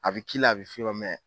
A bi k'i la a bi f'i ma mɛ